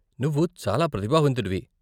నువ్వు చాలా ప్రతిభావంతుడివి.